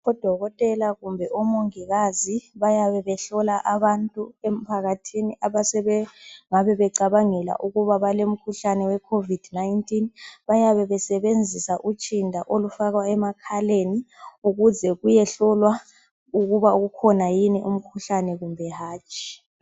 Odokotela kumbe omongikazi bayabe behlola abantu emphakathini abasebengabe becabangela ukuba balemkhuhlane weCOVID19. Bayabe besebenzisa utshinda olufakwa emakhaleni ukuze kuyehlolwa ukuba ukhona yini umkhuhlane kumbe hatshi.